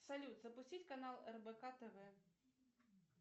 салют запустить канал рбк тв